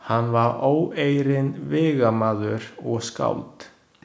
Hann var óeirinn vígamaður og skáld.